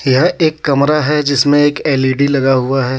यह एक कमरा हे जिसमे एक एल_इ_डी लगा हुआ हे.